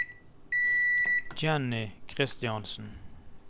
Jenny Kristiansen